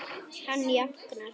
Hann jánkar.